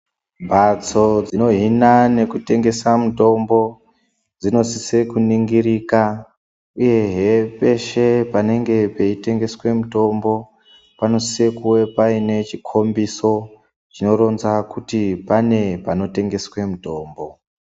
Mhatso dzinohina nekutengesa mitombo, dzinosise kunongirika, uyehe peshe panenge peitendeswe mitombo panosise kuve paine chikombiso, chinoronza kuti pane panotengeswe mutombo.